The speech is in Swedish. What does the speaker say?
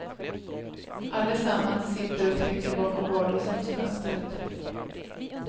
Allesammans sitter och trycker bakom vardagsrumsfönstret.